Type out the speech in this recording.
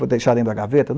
Vou deixar dentro da gaveta?